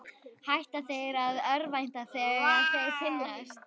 Hætta þeir að örvænta þegar þeir finnast?